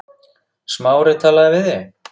Smári talaði við þig?